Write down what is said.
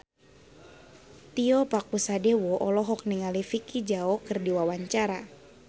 Tio Pakusadewo olohok ningali Vicki Zao keur diwawancara